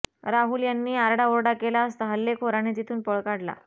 राहुल यांनी आरडाओरडा केला असता हल्लेखोरांनी तिथून पळ काढला